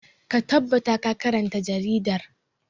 Ka tabbata ka karanta jaridar!